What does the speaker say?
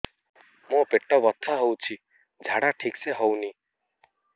ମୋ ପେଟ ବଥା ହୋଉଛି ଝାଡା ଠିକ ସେ ହେଉନି